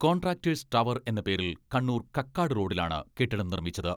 Contractors tower എന്ന പേരിൽ കണ്ണൂർ കക്കാട് റോഡിലാണ് കെട്ടിടം നിർമ്മിച്ചത്.